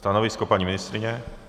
Stanovisko, paní ministryně?